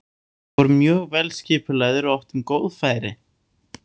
Við vorum mjög vel skipulagðir og áttum góð færi.